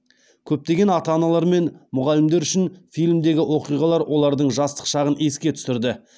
көптеген ата аналар мен мұғалімдер үшін фильмдегі оқиғалар олардың жастық шағын еске түсірді